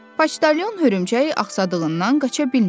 Poçtalyon hörümçək axsadağından qaça bilmirdi.